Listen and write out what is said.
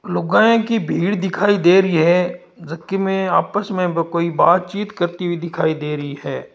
लुगाई की भीड़ दिखाई दे रही है जो कि आपस में कोई बात बातचीत करती हुए दिखाई दे रही है।